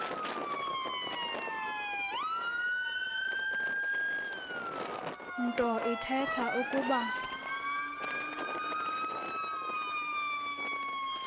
nto ithetha ukuba